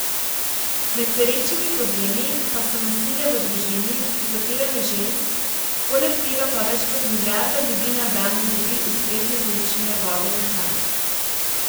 Med perečimi problemi pa so nasilje v družini, zatiranje žensk, poleg tega pa več kot milijarda ljudi na dan ne dobi ustrezne količine vode in hrane.